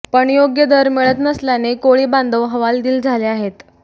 पण योग्य दर मिळत नसल्याने कोळी बांधव हवालदिल झाले आहेत